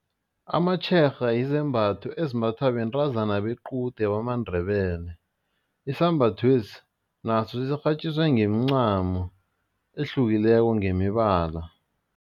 Amatshega yizembatho ezimbathwa bentazana bequde bamaNdebele, isambathwesi naso sirhatjiswe ngeemcamo ehlukileko ngemibala.